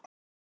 Nú er hann